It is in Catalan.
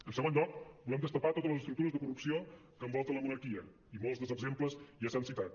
en segon lloc volem destapar totes les estructures de corrupció que envolten la monarquia i molts dels exemples ja s’han citat